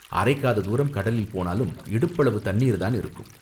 அரைக்காத தூரம் கடலில் போனாலும் இடுப்பளவு தண்ணீர் தான் இருக்கும்.